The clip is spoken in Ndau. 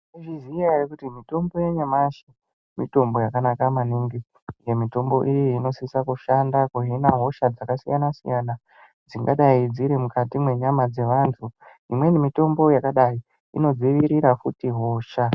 Tinozviziya eya kuti mitombo yanyamashi mitombo yakanaka maningi. Mitombo iyi inosise kushanda kuzvina hosha dzakasiyana siyana dzingadai dziri mukati mwenyama dzevantu. Imweni mitombo yakadai inodzivirira futi hosha.